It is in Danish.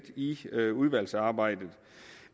i udvalgsarbejdet